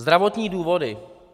Zdravotní důvody.